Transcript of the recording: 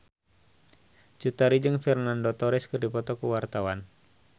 Cut Tari jeung Fernando Torres keur dipoto ku wartawan